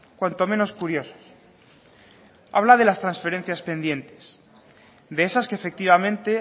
cuanto menos curiosos habla de las transferencias pendientes de esas que efectivamente